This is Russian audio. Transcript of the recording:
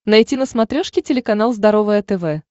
найти на смотрешке телеканал здоровое тв